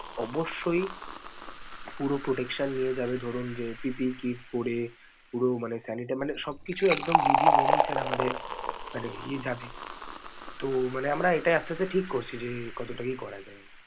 অবশ্যই পুরো protection নিয়ে যাবে ধরুন যে PPE kit পরে পুরো মানে মানে সবকিছু একদম বিধি মেনেই sir আমাদের মানে নিয়ে যাবে. তো, মানে আমারা এটা আস্তে আস্তে ঠিক করছি যে কত টুকু করা যায়।